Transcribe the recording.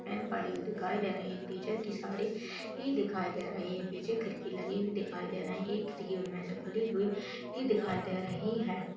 Pen पढ़ी हुई दिखाई दे रही एक टीचर साड़ी भी दिखाई दे रही पीछे खिड़की लगी हुई दिखाई दे रही एक खिड़की उनमे से खुली हुई दिखाई दे रही है।